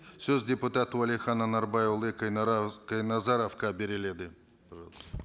сөз депутат уәлихан анарбайұлы қайназаровқа беріледі